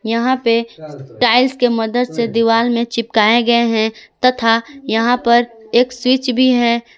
यहां पे टाइल्स के मदद से दीवाल में चिपकाए गए हैं तथा यहां पर एक स्विच भी है।